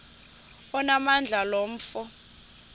onamandla lo mfo